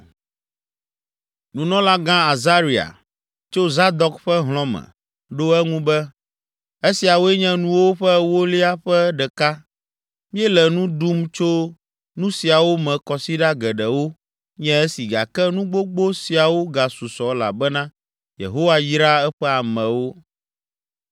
nunɔlagã Azaria, tso Zadok ƒe hlɔ̃ me, ɖo eŋu be, “Esiawoe nye nuwo ƒe ewolia ƒe ɖeka! Míele nu ɖum tso nu siawo me kɔsiɖa geɖewo nye esi gake nu gbogbo siawo gasusɔ elabena Yehowa yra eƒe amewo.”